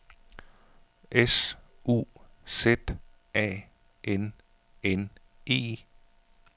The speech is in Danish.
S U Z A N N E